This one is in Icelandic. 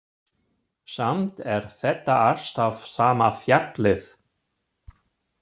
Samt er þetta alltaf sama fjallið.